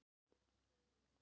Að ganga á bak orða sinna